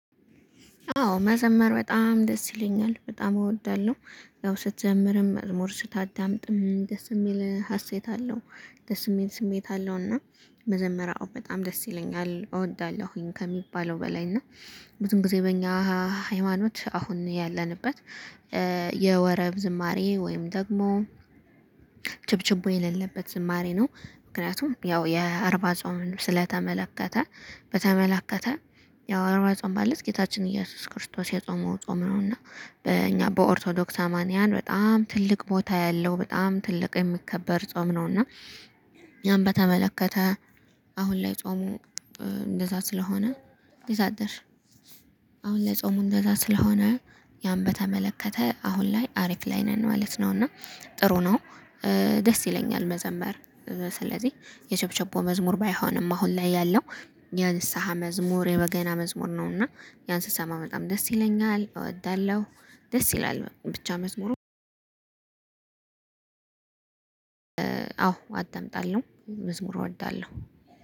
አዎ መዘመር በጣም ደስ ይለኛል በጣም እወዳለሁ ያው ስትዘምርም መዝሙር ስታዳምጥም ደስ የሚል ሀሴት አለው። ደስ የሚል ስሜት አለው። እና መዘመር በጣም ደስ ይለኛል እወዳለሁኝ ከሚባለው በላይ እና ብዙም ጊዜ በእኛ ሃይማኖት አሁን ያለንበት የወረብ ዝማሬ ወይም ደግሞ ጭብጭብ የሌለበት ዝማሬ ነው። ምክንያቱም ያው የአርባ ጾምን ስለተመለከተ በተመለከተ ያው አርባ ጾም ማለት ጌታችን ኢየሱስ ክርስቶስ የጾመው ጾም ነው። እና በእኛ በኦርቶዶክስ አማንያን በጣም ትልቅ ቦታ ያለው በጣም ትልቅ የሚከበር ጾም ነው። እና ያም በተመለከተ አሁን ላይ ጾሙ እንደዛ ስለሆነ ይዛት አሁን ጾሙ እንደዛ ስለሆነ ያን በተመለከተ አሁን ላይ አሪፍ ላይ ነን ማለት ነው። እና ጥሩ ነው። ደስ ይለኛል መዘመር ስለዚህ የሸብሸቦ መዝሙር ባይሆንም አሁን ላይ ያለው የንስሃ መዝሙር የበገና መዝሙር ነው። እና ያን ስሰማ በጣም ደስ ይለኛል እወዳለሁ። ደስ ይላል ብቻ መዝሙሩ አዎ አዳምጣለው መዝሙር እወዳለሁ